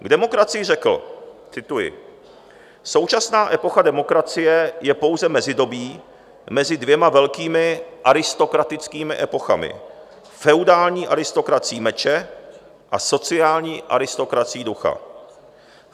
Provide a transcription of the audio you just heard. K demokracii řekl, cituji: "Současná epocha demokracie je pouze mezidobí mezi dvěma velkými aristokratickými epochami - feudální aristokracií meče a sociální aristokracií ducha.